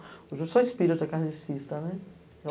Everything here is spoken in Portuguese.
Hoje eu sou espírita carnecista.